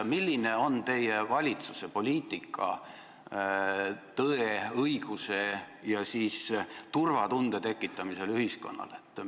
Milline on teie valitsuse poliitika tõe, õiguse ja turvatunde tekitamisel ühiskonnas?